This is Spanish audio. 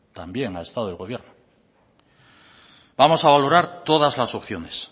también ha estado el gobierno vamos a valorar todas las opciones